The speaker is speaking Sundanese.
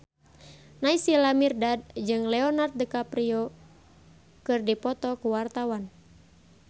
Naysila Mirdad jeung Leonardo DiCaprio keur dipoto ku wartawan